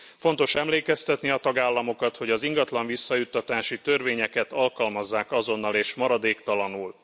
Fontos emlékeztetni a tagállamokat, hogy az ingatlan visszajuttatási törvényeket alkalmazzák azonnal és maradéktalanul.